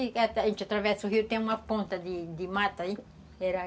A gente atravessa o rio, tem uma ponta de de mata aí.